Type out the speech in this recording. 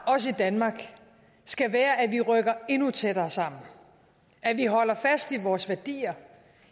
også i danmark skal være at vi rykker endnu tættere sammen at vi holder fast i vores værdier